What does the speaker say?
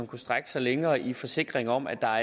kunne strække sig længere i forsikring om at der